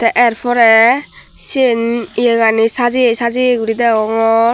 er pore siyen yegani sajeye sajeye guri degongor.